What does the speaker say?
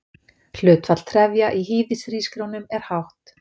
Hlutfall trefja í hýðishrísgrjónum er hátt.